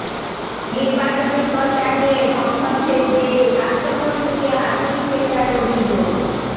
নির্বাচনি প্রচার নিয়ে সংঘর্ষের জেরে স্বাস্থ্যকর্মীকে হাতুড়ি পেটার অভিযোগ